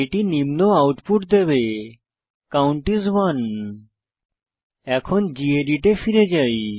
এটি নিম্ন আউটপুট দেবে কাউন্ট আইএস 1 এখন গেদিত এ ফিরে যাই